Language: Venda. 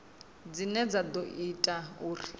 dzine dza ḓo ita uri